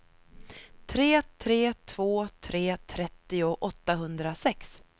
tre tre två tre trettio åttahundrasex